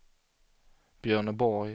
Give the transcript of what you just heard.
Björneborg